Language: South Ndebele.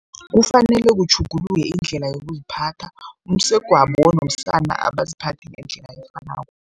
Kufanele kutjhuguluke indlela yokuziphatha. Umsegwabo nomsana abaziphathi ngendlela efanako.